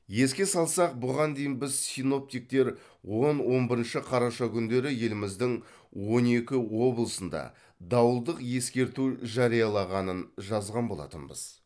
еске салсақ бұған дейін біз синоптиктер он он бірінші қараша күндері еліміздің он екі облысында дауылдық ескерту жариялағанын жазған болатынбыз